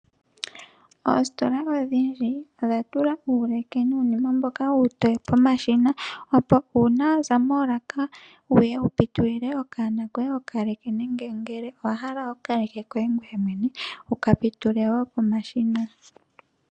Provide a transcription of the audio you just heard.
Oositola odhindji odha tula uuleke nuunima mboka uutoye mboka pomashina opo uuna waza moolaka wuye wu pitulile okanona koye okaleke nenge ngele owa hala okaleke koye ngweye mwene wuka pitule wo pomashina.